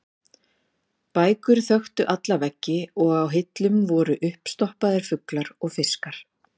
Bækur þöktu alla veggi og á hillum voru uppstoppaðir fuglar og fiskar.